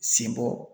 Sen bɔ